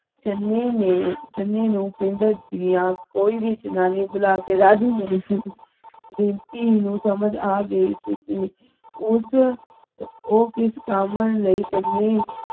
ਚਨੇ ਨੇ ਚਨੇ ਨੁ ਪਿੰਢ ਦੀਆ ਕੋਈ ਭੀ ਜਨਾਨੀ ਬੁਲਾਕੇ ਰਾਜੀ ਨਹੀਂ ਥੀ ਰੀਪਮੀ ਨੁ ਸਮਜ ਆ ਗਈ ਸੀ ਕੀ ਉਸ ਊ ਕਿਸ ਕਾਮਨ ਲਈ ਚਲੇ